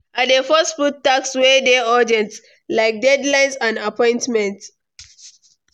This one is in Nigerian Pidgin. I dey first put tasks wey dey urgent, like deadlines and appointments.